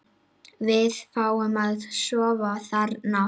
Við fáum að sofa þarna.